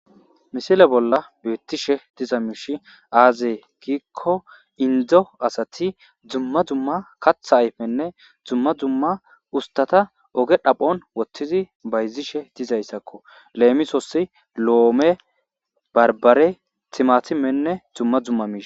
Missile bolla beettishe diza miishi aaze giikko indo asati dumma dumma katha ayfenne dumma dumma ustata oge dhaphon woththidi bayzishe dizayssakko leemissosi loome baribare timatimenne dumma dumma mishsha.